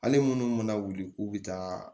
Ale minnu mana wuli k'u bɛ taa